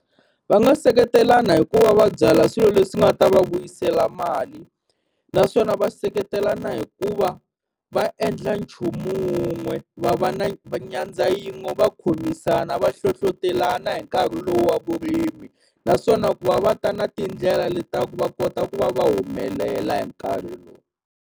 Va nga seketelana hikuva va byala swilo leswi nga ta va vuyisela mali, naswona va seketelana hikuva va endla nchumu wun'we va va na va nyandza yin'we va khomisana va hlohlotelana hi nkarhi lowu wa vurimi. Naswona ku va va ta na tindlela leti ta ku va kota ku va va humelela hi nkarhi lowu.